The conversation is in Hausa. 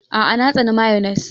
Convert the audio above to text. A'a! Na tsani mayones.